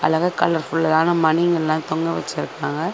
எல்லாவே colour ஃபுல்லான மணிங்கெல்லா தொங்க வெச்சிருக்காங்க.